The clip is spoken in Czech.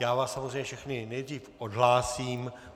Já vás samozřejmě všechny nejdřív odhlásím.